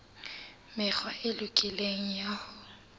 mekgwa e lokileng ya ho